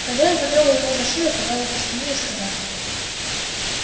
хозяин потрогал его за шею погладил по спине и сказал